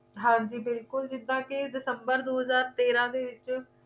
ਹਾਂ ਜੀ ਬਿਲਕੁਲ ਜਿੱਦਾਂ ਕੇ december ਦੋ ਹਜ਼ਾਰ ਤੇਰਾਂ ਦੇ ਵਿੱਚ